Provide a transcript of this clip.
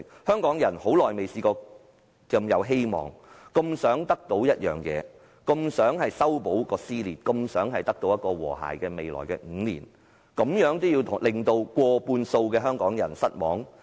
香港人已很久沒有如此充滿希望，這麼想得到一件東西，這麼想修補撕裂，這麼想未來5年會有和諧，難道他們真的要令過半數的香港人失望？